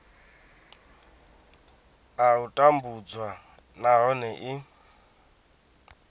a u tambudzwa nahone i